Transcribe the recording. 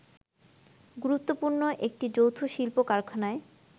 গুরুত্বপূর্ণ একটি যৌথ শিল্প-কারখানায়